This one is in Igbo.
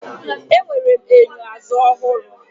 Enwere m enyo azụ ọhụrụ.